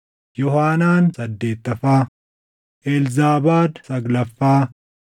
Yoohaanaan saddeettaffaa, Elzaabaad saglaffaa,